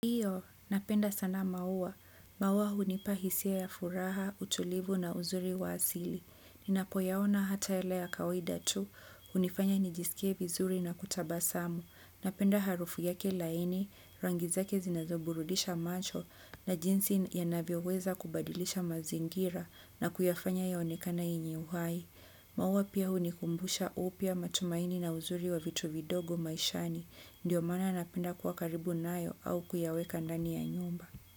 Hiyo, napenda sana maua. Maua hunipa hisia ya furaha, utulivu na uzuri wa asili. Ninapoyaona hata yale ya kawaida tu, hunifanya nijisikie vizuri na kutabasamu. Napenda harufu yake laini, rangi zake zinazoburudisha macho na jinsi yanavyoweza kubadilisha mazingira na kuyafanya ionekane yenye uhai. Maua pia hunikumbusha upya matumaini na uzuri wa vitu vidogo maishani. Ndiyo maana napenda kuwa karibu nayo au kuyaweka ndani ya nyumba.